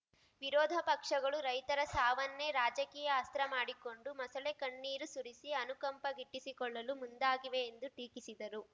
ವಿರೋಧ ಪಕ್ಷಗಳು ರೈತರ ಸಾವನ್ನೇ ರಾಜಕೀಯ ಅಸ್ತ್ರ ಮಾಡಿಕೊಂಡು ಮೊಸಳೆ ಕಣ್ಣೀರು ಸುರಿಸಿ ಅನುಕಂಪ ಗಿಟ್ಟಿಸಿಕೊಳ್ಳಲು ಮುಂದಾಗಿವೆ ಎಂದು ಟೀಕಿಸಿದರು